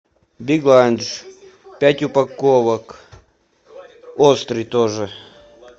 биг ланч пять упаковок острый тоже